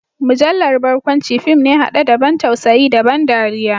Mujallar barkwanci fim ne hade da ban tausayi da ban dariya.